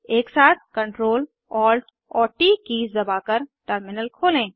एकसाथ Ctrl Alt और T keys दबाकर टर्मिनल खोलें